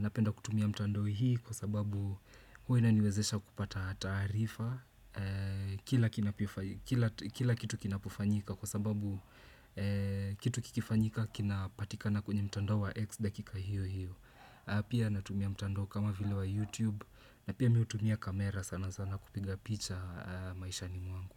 Napenda kutumia mtandao hii kwa sababu huwa inaniwezesha kupata taarifa kila kitu kinapofanyika kwa sababu kitu kikifanyika kinapatikana kwa mtandao wa X dakika hiyo hiyo. Pia natumia mtandao kama vile wa YouTube na pia mimi hutumia kamera sana sana kupiga picha maishani mwangu.